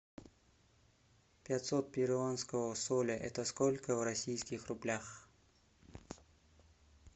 пятьсот перуанского соля это сколько в российских рублях